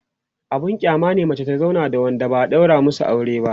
abun kyama ne mace ta zauna da Wanda ba'a ɗaura masu aure ba